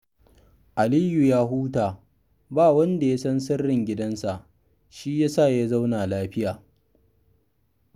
Aliyu ya huta, ba wanda ya san sirrin gidansa shi ya sa ya zauna lafiya